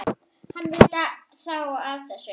Hann veit þá af þessu?